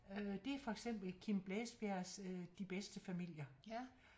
Det er for eksempel Kim Blæsbjergs øh De Bedste Familier